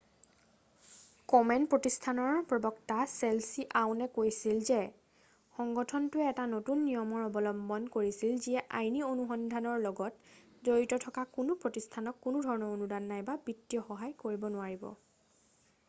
কমেন প্ৰতিষ্ঠানৰ প্ৰবক্তা Leslie Aun কৈছিল যে সংগঠনটোৱে এটা নতুন নিয়মৰ অৱলম্বন কৰিছিল যিয়ে আইনী অনুসন্ধানৰ লগত জড়িত থকা কোনো প্ৰতিষ্ঠানক কোনোধৰণৰ অনুদান নাইবা বিত্তীয় সহায় কৰিব নোৱাৰিব